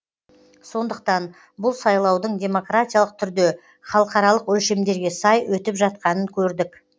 сондықтан бұл сайлаудың демократиялық түрде халықаралық өлшемдерге сай өтіп жатқанын көрдік